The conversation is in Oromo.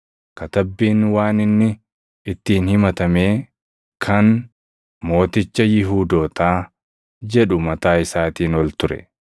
Katabbiin waan inni ittiin himatamee kan, Mooticha Yihuudootaa, jedhu mataa isaatiin ol ture.